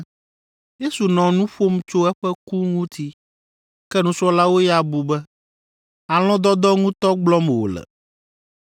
Yesu nɔ nu ƒom tso eƒe ku ŋuti, ke nusrɔ̃lawo ya bu be alɔ̃dɔdɔ ŋutɔ gblɔm wòle.